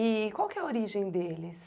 E qual que é a origem deles?